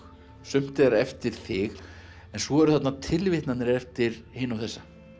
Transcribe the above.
sumt er eftir þig en svo eru þarna tilvitnanir eftir hina og þessa